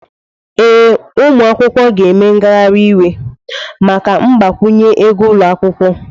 Ee, ụmụ akwụkwọ ga-eme ngagharị iwe maka mgbakwunye ego ụlọ akwụkwọ.